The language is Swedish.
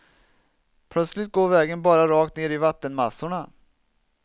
Plötsligt går vägen bara rakt ner i vattenmassorna.